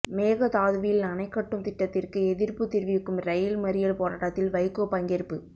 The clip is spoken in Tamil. மேகதாதுவில் அணைகட்டும் திட்டத்திற்கு எதிர்ப்புத் தெரிவிக்கும் இரயில் மறியல் போராட்டத்தில் வைகோ பங்கேற்பு